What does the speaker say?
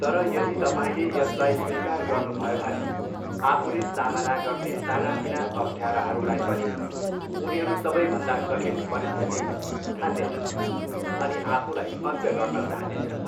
तर यदि तपाईँले यसलाई स्वीकार गर्नुभयो भने आफूले सामना गर्ने सानातिना अप्ठ्याराहरूलाई पनि उनीहरू सबैभन्दा कठिन परिस्थिति ठान्नेछन् अनि आफूलाई अन्त्य गर्न चाहनेछन्।